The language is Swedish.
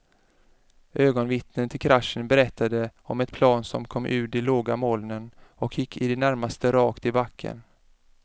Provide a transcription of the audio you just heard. Ögonvittnen till kraschen berättade om ett plan som kom ur de låga molnen och gick i det närmaste rakt i backen.